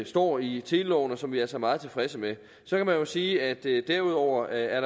står i teleloven og som vi altså er meget tilfredse med så kan man jo sige at der derudover er